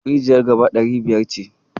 Rijiyar gaba ɗari biyar ce.